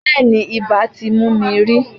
Bẹ́ẹ̀ni, ibà ti mú mi rí.